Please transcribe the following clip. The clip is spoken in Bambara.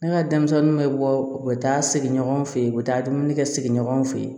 Ne ka denmisɛnninw bɛ bɔ u bɛ taa sigi ɲɔgɔn fɛ yen u bɛ taa dumuni kɛ sigi ɲɔgɔn fɛ